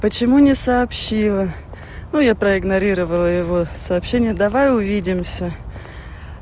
почему не сообщила ну я проигнорировала его сообщение давай увидимся